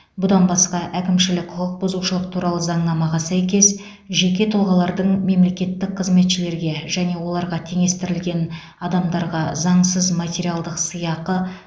бұдан басқа әкімшілік құқық бұзушылық туралы заңнамаға сәйкес жеке тұлғалардың мемлекеттік қызметшілерге және оларға теңестірілген адамдарға заңсыз материалдық сыйақы